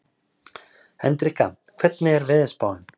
Hendrikka, hvernig er veðurspáin?